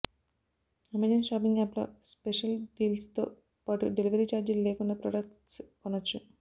Amazon shopping యాప్లో special డీల్స్తో పాటు డెలివరీ ఛార్జీలు లేకుండా ప్రొడక్ట్స్ కొనొచ్చు